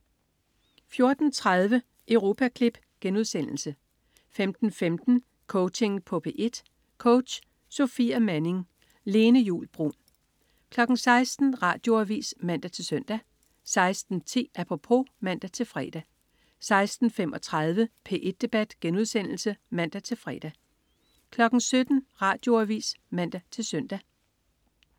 14.30 Europaklip* 15.15 Coaching på P1. Coach: Sofia Manning. Lene Juul Bruun 16.00 Radioavis (man-søn) 16.10 Apropos (man-fre) 16.35 P1 Debat* (man-fre) 17.00 Radioavis (man-søn)